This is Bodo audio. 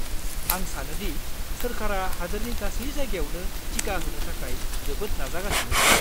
आं सानो दि सोरखारा हादोरनि गासै जायगायावनो टिका होनो थाखाय जोबोद नाजागासिनो दं।